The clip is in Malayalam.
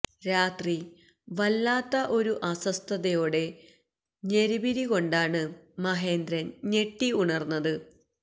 രാത്രി വല്ലാത്ത ഒരു അസ്വസ്ഥതയോടെ ഞെളിപിരി കൊണ്ടാണ് മഹേന്ദ്രൻ ഞെട്ടി ഉണർന്നത്